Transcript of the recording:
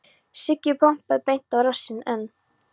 Siggi pompaði beint á rassinn en